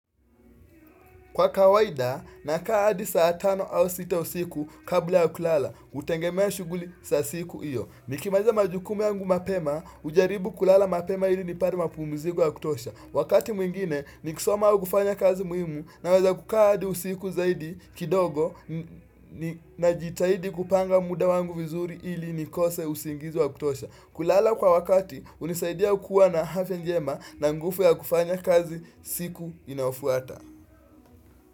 Kwa kawaida, na kaahadi saa tano au sita usiku kabla yakulala, hutengemea shughuli za siku iyo. Nikimaliza majukumu yangu mapema, hujaribu kulala mapema ili nipate mapu mziko ya kutosha. Wakati mwingine, ni kisoma aukufanya kazi muhimu naweza kukaahadi usiku zaidi kidogo na jitahidi kupanga muda wangu vizuri ili nikose usingizi wa kutosha. Kulala kwa wakati, hunisaidia kuwa na afya njema na nguvu ya kufanya kazi siku inayofuata.